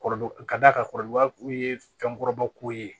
Kɔrɔ ka d'a ka kɔlɔlɔ ye fɛn kɔrɔba ko ye